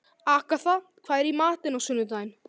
Agatha, hvað er í matinn á sunnudaginn?